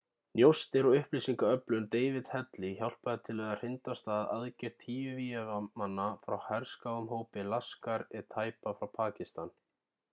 njósnir og upplýsingaöflun david headley hjálpaði til við að hrinda af stað aðgerð tíu vígamanna frá herskáum hópi laskhar-e-taiba frá pakistan